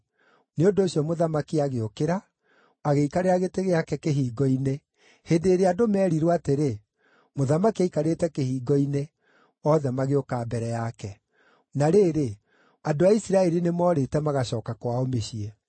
Nĩ ũndũ ũcio mũthamaki agĩũkĩra, agĩikarĩra gĩtĩ gĩake kĩhingo-inĩ. Hĩndĩ ĩrĩa andũ meerirwo atĩrĩ, “Mũthamaki aikarĩte kĩhingo-inĩ,” othe magĩũka mbere yake. Daudi Gũcooka Jerusalemu Na rĩrĩ, andũ a Isiraeli nĩmoorĩte magacooka kwao mĩciĩ.